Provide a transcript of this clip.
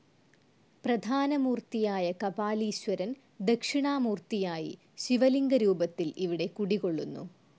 പ്രധാന മൂർത്തിയായ കപാലീശ്വരൻ ദക്ഷിണാമൂർത്തിയായി ശിവലിംഗരൂപത്തിൽ ഇവിടെ കുടികൊള്ളുന്നു.